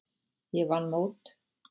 Ég vann mót.